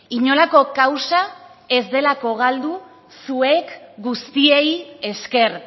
inolako kausa ez delako galdu zuek guztiei esker